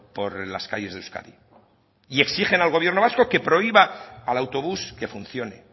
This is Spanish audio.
por las calles de euskadi y exigen al gobierno vasco que prohíba al autobús que funcione